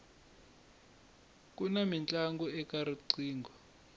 kuna mintlangu eka riqingho